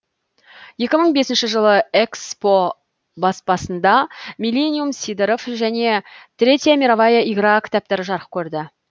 екі мың бесінші жылы эксмо баспасында миллениум сидоров және третья мировая игра кітаптары жарық көрді